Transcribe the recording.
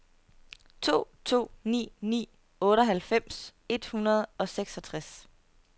to to ni ni otteoghalvfems et hundrede og seksogtres